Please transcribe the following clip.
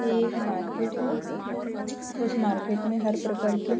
यह एक मार्किट है उस मार्किट में हर प्रकार के --